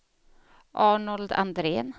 Arnold Andrén